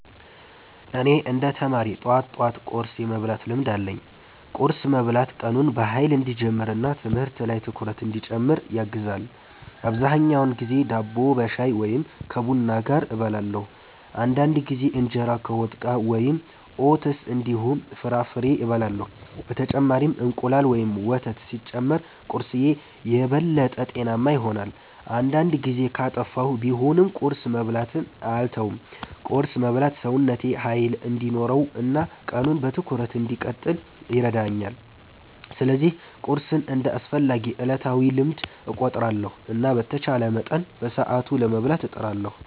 እኔ እንደ ተማሪ ጠዋት ጠዋት ቁርስ የመብላት ልምድ አለኝ። ቁርስ መብላት ቀኑን በኃይል እንዲጀምር እና ትምህርት ላይ ትኩረት እንዲጨምር ያግዛል። አብዛኛውን ጊዜ ዳቦ ከሻይ ወይም ከቡና ጋር እበላለሁ። አንዳንድ ጊዜ እንጀራ ከወጥ ጋር ወይም ኦትስ እንዲሁም ፍራፍሬ እበላለሁ። በተጨማሪም እንቁላል ወይም ወተት ሲጨመር ቁርስዬ የበለጠ ጤናማ ይሆናል። አንዳንድ ጊዜ ጊዜ ካጠፋሁ ቢሆንም ቁርስ መብላትን አልተውም። ቁርስ መብላት ሰውነቴ ኃይል እንዲኖረው እና ቀኑን በትኩረት እንድቀጥል ይረዳኛል። ስለዚህ ቁርስን እንደ አስፈላጊ ዕለታዊ ልምድ እቆጥራለሁ እና በተቻለ መጠን በሰዓቱ ለመብላት እጥራለሁ።